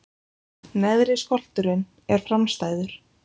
Neðri skolturinn er framstæður.